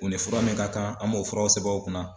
U ni fura min ka kan an m'o furaw sɛbɛn u kunna.